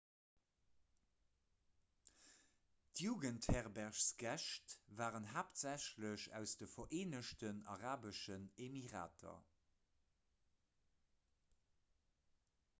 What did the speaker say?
d'jugendherbergsgäscht waren haaptsächlech aus de vereenegten arabeschen emirater